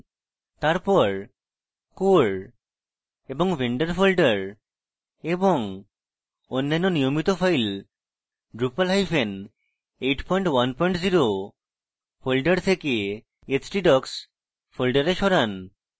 তারপর core এবং vendor folder এবং অন্যান্য নিয়মিত files drupal810 folder then htdocs folders সরান